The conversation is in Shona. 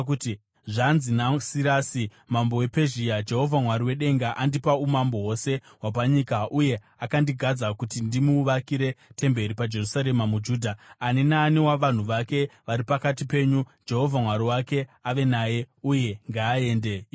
“Zvanzi naSirasi mambo wePezhia: “ ‘Jehovha Mwari wedenga, andipa umambo hwose hwapanyika uye akandigadza kuti ndimuvakire temberi paJerusarema muJudha. Ani naani wavanhu vake vari pakati penyu, Jehovha Mwari wake ave naye, uye ngaaende ikoko.’ ”